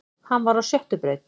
Hann var á sjöttu braut